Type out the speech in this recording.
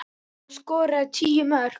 Hann skoraði tíu mörk.